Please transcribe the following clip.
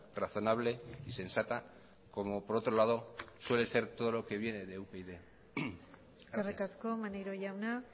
razonable y sensata como por otro lado suele ser todo lo que viene de upyd eskerrik asko maneiro jauna